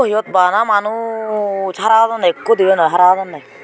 eyot bana manuj hara hodonne ekko dibey noi hara hodonne.